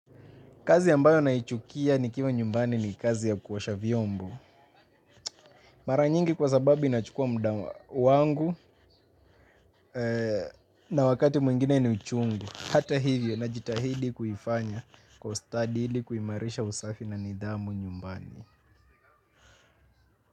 Kazi ambayo naichukia nikiwa nyumbani ni kazi ya kuosha vyombo. Mara nyingi kwa sababu inachukua muda wangu na wakati mwingine ni uchungu. Hata hivyo najitahidi kuifanya kwa ustadi ili kuimarisha usafi na nidhamu nyumbani.